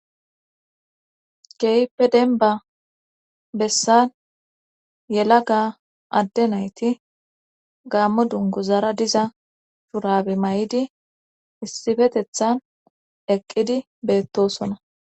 Hehipe denba bessan yela ga adde nayti gammo dungu zara diza shurabe may7idi issifetethan eqqidi beettosona